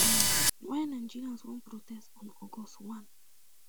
um why nigerians wan protest on august one